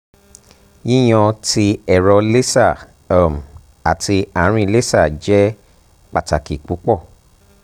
yiyan ti ẹrọ laser um ati aarin laser jẹ pataki pupọ